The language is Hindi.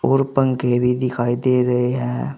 और पंखे भी दिखाई दे रहे है।